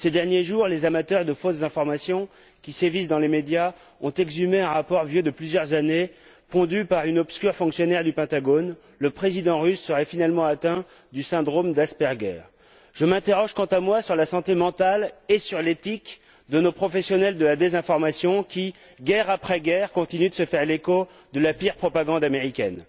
Ces derniers jours, les amateurs de fausses informations qui sévissent dans les médias ont exhumé un rapport vieux de plusieurs années, pondu par une obscure fonctionnaire du Pentagone le président russe serait finalement atteint du syndrome Je m'interroge, quant à moi, sur la santé mentale et sur l'éthique de nos professionnels de la désinformation qui, guerre après guerre, continuent de se faire l'écho de la pire propagande américaine.